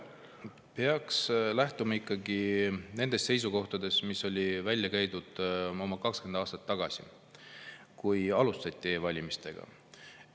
No peaks lähtuma ikkagi nendest seisukohtadest, mis käidi välja oma 20 aastat tagasi, kui alustati e-valimistega.